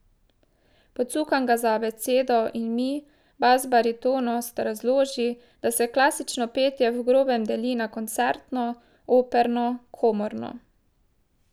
Pocukam ga za abecedo in mi, basbaritonist, razloži, da se klasično petje v grobem deli na koncertno, operno, komorno.